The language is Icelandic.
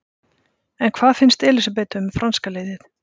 En hvað finnst Elísabetu um franska liðið?